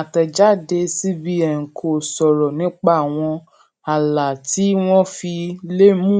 àtẹjáde cbn kò sọrọ nípa àwọn ààlà tí wọn fi lè mú